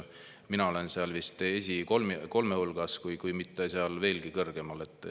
Mina olen seal vist esikolme hulgas, kui mitte veelgi kõrgemal.